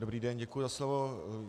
Dobrý den, děkuji za slovo.